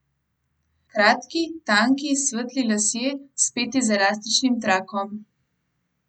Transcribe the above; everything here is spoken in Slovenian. Kratki, tanki, svetli lasje, speti z elastičnim trakom.